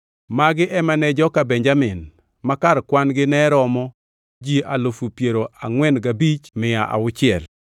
Magi ema ne joka Benjamin; ma kar kwan-gi ne romo ji alufu piero angʼwen gabich mia auchiel (45,600).